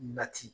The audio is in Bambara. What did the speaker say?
Nati